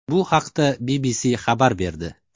Bu haqda BBC xabar berdi.